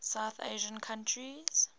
south asian countries